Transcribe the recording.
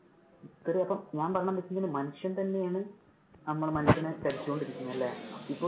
ഞാൻ പറയുന്നത് എന്താണെന്നു വെച്ച് കഴിഞ്ഞാല്. മനുഷ്യൻ തന്നെയാണ് നമ്മള് മനുഷ്യനെ ചതിച്ചോണ്ട് ഇരിക്കുന്നത് അല്ലെ. ഇപ്പൊ